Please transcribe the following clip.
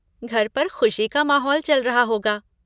घर पर ख़ुशी का माहौल चल रहा होगा।